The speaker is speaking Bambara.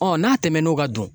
n'a tɛmɛn'o kan dun